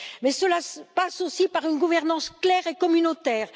Mais cela passe aussi par une gouvernance claire et communautaire.